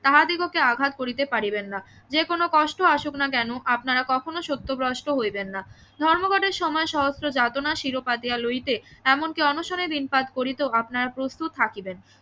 তাহাদিগকে আঘাত করিতে পারিবেন না যে কোনো কষ্ট আসুক না কেন আপনারা কখনো সত্যগ্রস্ত হইবেন না ধর্মঘটের সময় সহস্র যাতনা লইতে এমন কি অনশনের করিতেও আপনারা প্রস্তুত থাকিবেন